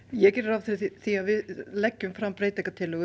ég geri ráð fyrir því að við leggjum fram breytingartillögur